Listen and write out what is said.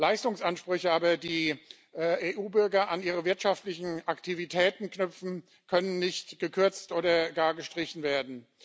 Leistungsansprüche aber, die EU Bürger an ihre wirtschaftlichen Aktivitäten knüpfen, können nicht gekürzt oder gar gestrichen werden.